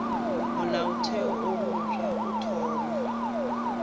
molaotheo wo mofsa o thoma